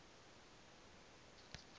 a ne mavu ayo a